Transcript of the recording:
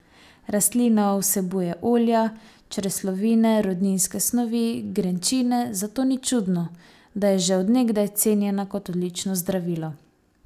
Rastlina vsebuje olja, čreslovine, rudninske snovi, grenčine, zato ni čudno, da je že od nekdaj cenjena kot odlično zdravilo.